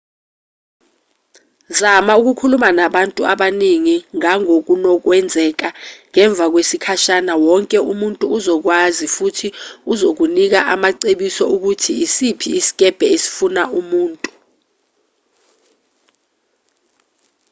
zama ukukhuluma nabantu abaningi ngangokunokwenzeka ngemva kwesikhashana wonke umuntu uzokwazi futhi uzokunika amacebiso okuthi isiphi isikebhe esifuna umuntu